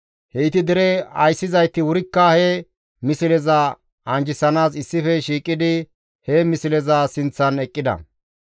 Heyti dere ayssizayti wurikka he misleza anjjisanaas issife shiiqidi he misleza sinththan eqqida.